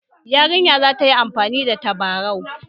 Yarinyar za ta yi amfani da tabarau